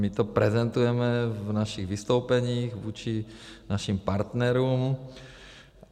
My to prezentujeme v našich vystoupeních vůči našim partnerům.